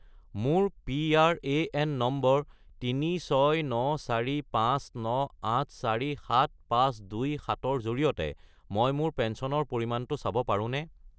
মোৰ PRAN number 369459847527 -ৰ জৰিয়তে মই মোৰ পেঞ্চনৰ পৰিমাণটো চাব পাৰোঁনে?